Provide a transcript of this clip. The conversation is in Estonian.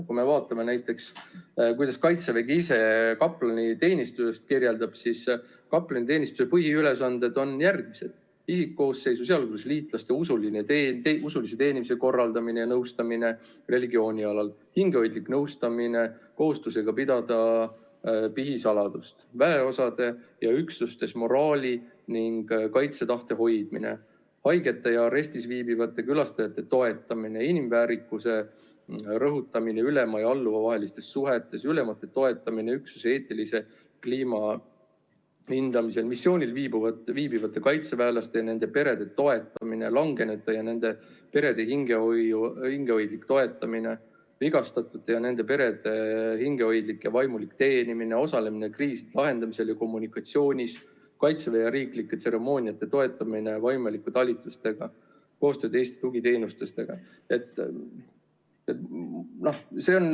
Kui me vaatame, kuidas Kaitsevägi ise kaplaniteenistust kirjeldab, siis kaplaniteenistuse põhiülesanded on järgmised: "isikkoosseisu, sh liitlaste, usulise teenimise korraldamine ja nõustamine religiooni alal, hingehoidlik nõustamine kohustusega pidada pihisaladust, väeosades ja üksustes moraali ning kaitsetahte hoidmine, haigete ja arestis viibijate külastamine ja toetamine, inimväärikuse rõhutamine ülema ja alluva vahelistes suhetes, ülemate toetamine üksuse eetilise kliima hindamisel, missioonil viibivate kaitseväelaste ja nende perede toetamine, langenute ja nende perede hingehoidlik toetamine, vigastatute ja nende perede hingehoidlik ja vaimulik teenimine, osalemine kriiside lahendamisel ja -kommunikatsioonis, kaitseväe- ja riiklike tseremooniate toetamine vaimulike talitustega, koostöö teiste tugiteenustega".